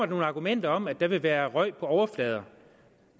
nogle argumenter om at der vil være røg på overflader